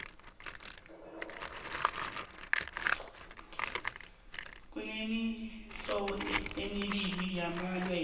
kunemihlobo emibii yamawele